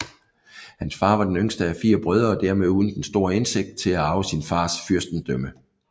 Hans far var den yngste af fire brødre og dermed uden den store udsigt til at arve sin fars fyrstendømme